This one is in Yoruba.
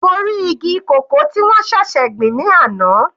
Mo rí igi cocoa tí wọ́n ṣẹ̀ṣẹ̀ gbìn ní àná.